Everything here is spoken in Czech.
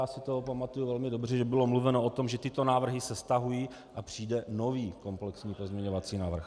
Já si to pamatuju velmi dobře, že bylo mluveno o tom, že tyto návrhy se stahují a přijde nový komplexní pozměňovací návrh.